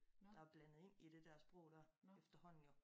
Der blandet ind i det dér sprog dér efterhånden jo